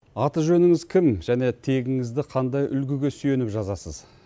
аты жөніңіз кім және тегіңізді қандай үлгіге сүйеніп жазасыз